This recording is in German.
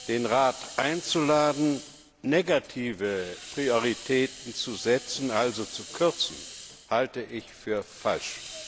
Den Rat einzuladen, negative Prioritäten zu setzen, also zu kürzen, halte ich für falsch.